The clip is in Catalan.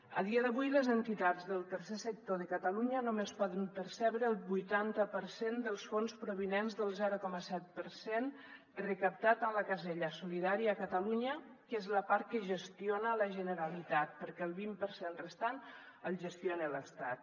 a dia d’avui les entitats del tercer sector de catalunya només poden percebre el vuitanta per cent dels fons provinents del zero coma set per cent recaptats en la casella solidària a catalunya que és la part que gestiona la generalitat perquè el vint per cent restant el gestiona l’estat